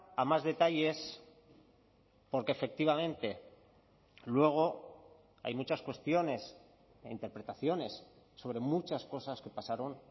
a más detalles porque efectivamente luego hay muchas cuestiones e interpretaciones sobre muchas cosas que pasaron